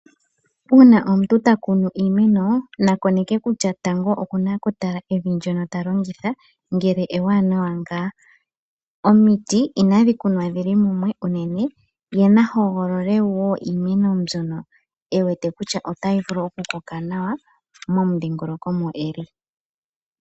Uuna omuntu ta kunu iimena na koneke kutya tango okuna okutala evi ndyono ta longitha ngele ewanawa ngaa? Omiti inadhi kunwa dhili mumwe unene. Ye na hogolole wo iimeno mbyono e wete kutya otayi vulu okukoka nawa momudhingoloko mo eli.